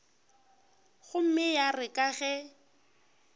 gomme ya re ka ge